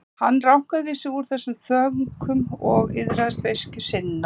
Hann rankaði við sér úr þessum þönkum og iðraðist beiskju sinnar.